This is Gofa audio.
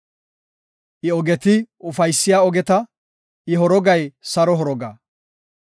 I ogeti ufaysiya ogeta; I horogay saro horoga.